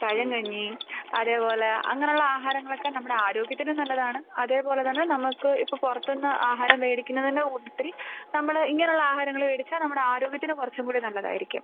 പഴംകഞ്ഞി അതേപോലെ അങ്ങനെ ഉള്ള ആഹാരങ്ങൾ ഒക്കെ നമ്മുടെ ആരോഗ്യത്തിനും നല്ലതാണ്. അതേപോലെതന്നെ നമുക്ക് ഇപ്പോൾ പുറത്തുനിന്ന് ആഹാരം മേടിക്കുന്നതിന്റെ കൂട്ടത്തിൽ നമ്മൾ ഇങ്ങനെ ഉള്ള ആഹാരങ്ങൾ മേടിച്ചാൽ നമ്മുടെ ആരോഗ്യത്തിന് കുറച്ചും കൂടി നല്ലതായിരിക്കും..